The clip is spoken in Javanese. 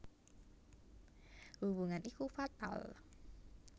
Hubungan iku fatal